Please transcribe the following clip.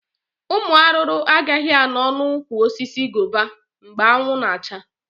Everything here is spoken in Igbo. Ụmụ arụrụ agaghị anọ na ụkwụ osisi gova mgbe anwụ na acha